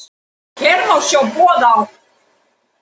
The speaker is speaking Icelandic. Hér má sjá boð á